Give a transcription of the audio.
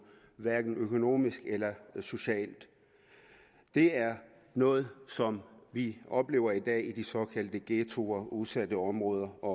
hverken økonomisk eller socialt det er noget som vi oplever i dag i de såkaldte ghettoer udsatte områder og